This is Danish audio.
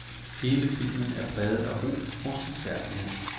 Hele filmen er præget af ro og stilfærdighed.